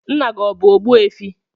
Nna gị ọ bụ Ogbuefi?